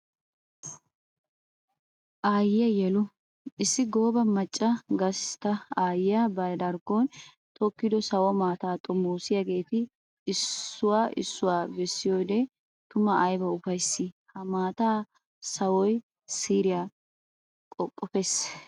Aayiya yelu! Issi gooba macca gastta aayiya ba darkkon tokkiddo sawo maataa xommossiyaagetta issuwa issuwa bessiyoode tuma ayba ufayssi! Ha maataa sawoy siiriya qoqqoppees.